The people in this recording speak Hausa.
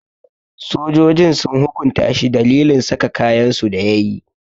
Sojojin sun hukunta shi dalilin saka kayansu da yayi.